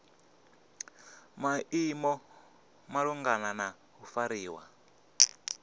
maimo malugana na u fariwa